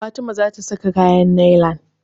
Fatima ta saka kayan nailan.